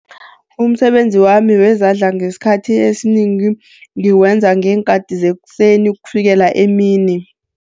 Umsebenzi wami wezandla ngesikhathi esinengi, ngiwenza ngeenkathi zekuseni ukufikela emini.